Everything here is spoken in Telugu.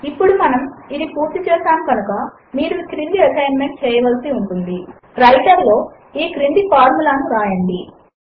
ఇప్పుడు మనము ఇది పూర్తి చేసాము కనుక మీరు ఈ ఎసైన్మెంట్ చేయవలసి ఉంటుంది160 వ్రైటర్ లో ఈ క్రింది ఫార్ములే ను వ్రాయండి